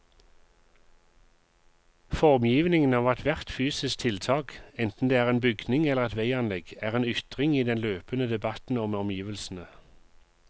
Formgivningen av ethvert fysisk tiltak, enten det er en bygning eller et veianlegg, er en ytring i den løpende debatten om omgivelsene.